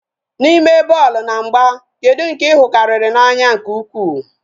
N'ime bọọlụ na mgba, kedu nke I hụ karịrị n'anya nke ukwu?